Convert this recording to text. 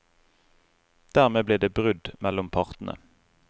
Dermed ble det brudd mellom partene.